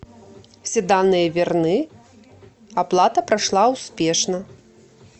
все данные верны оплата прошла успешно